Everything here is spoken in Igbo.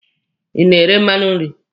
Ị na-ere mmanụ nri.